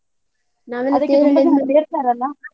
ಅದಕ್ಕೆ ತುಂಬ ಜನ ಸೇರ್ತಾರಲ್ಲ?